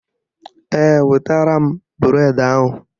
Ee, wetara m bụredi ahụ